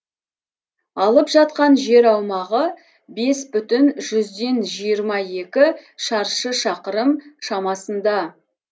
алып жатқан жер аумағы бес бүтін жүзден жиырма екі шаршы шақырым шамасында